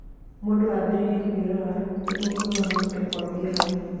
Mũndũ ambĩrĩre kũĩrora nĩguo kũĩhonokia kũambie hau.